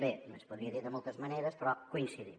bé es podria de moltes maneres però coincidim